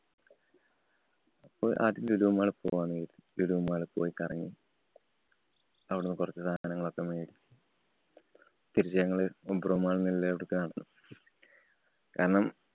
അപ്പൊ ആദ്യം lulu mall പോകാന്ന് കരുതി. Lulu mall ല്‍ പോയി കറങ്ങി. അവിടുന്ന് കൊറച്ച് സാധനങ്ങളൊക്കെ മേടിച്ചു. തിരിച്ചു ഞങ്ങള് obro mall ഉള്ള അവിടക്ക് നടന്നു കാരണം,